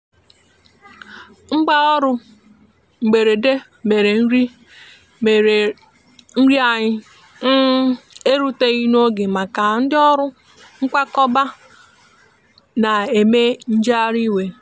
mgbaọrụ mgberede mere nri mere nri anyi um eruteghi n'oge maka ndi ọrụ nkwakọba n'eme njeghari iwe.